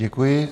Děkuji.